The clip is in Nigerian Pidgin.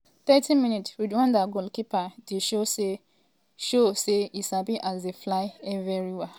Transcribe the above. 30mins- rwanda goalkeeper dey show say show say e sabi as dey fly evriwia to catch and push di ball comot for net.